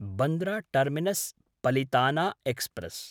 Bandra टर्मिनस्–पलिताना express